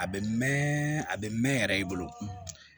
A bɛ mɛn a bɛ mɛn yɛrɛ i bolo